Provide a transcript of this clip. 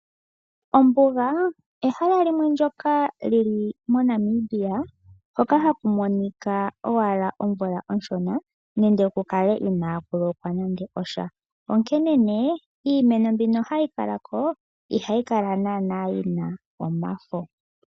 Ombuga ehala limwe ndyoka lili moNamibia, hoka haku monika owala omvula onshona nenge ku kale inaku lokwa nande osha. Onkene nee iimeno mbino hayi kalako ihayi kala naana yina omafo.